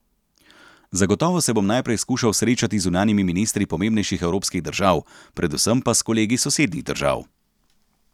Zagotovo se bom najprej skušal srečati z zunanjimi ministri pomembnejših evropskih držav, predvsem pa s kolegi sosednjih držav.